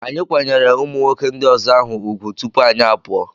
Anyị kwanyere ụmụnwoke ndị ọzọ ahụ ugwu tupu anyị apụọ.